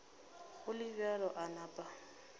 go le bjalo a napa